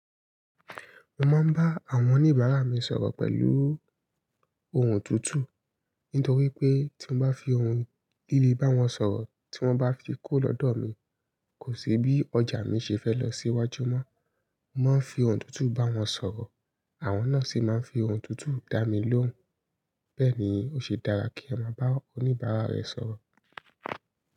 Mo máa ń bá àwọn oníbàárà mi sọ̀rọ̀ pẹ̀lú ohùn tútù. Nítorí pé tí mo bá fi ohùn líle bá wọn sọ̀rọ̀ tí wọ́n bá fi kuró lọ́dọ̀ mi, kò sí bí ọjà mi ṣe fẹ́ lọ sí iwájú mọ́. Mo máa ń fi ohùn tútù bá wọn sọ̀rọ̀, àwọn náà sì máa ń fi ohùn tútù dá mi lóhùn. Bẹ́ẹ̀ ni ó ṣe dára kí e máa bá oníbàárà rẹ sọ̀rọ̀.